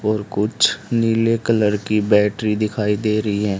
और कुछ नीले कलर की बैटरी दिखाई दे री हैं।